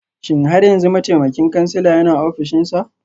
Shin har yanzu mataimakin kansila yana ofishinsa?